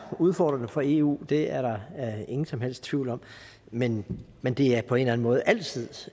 udfordrende for eu det er der ingen som helst tvivl om men men det er på en eller anden måde altid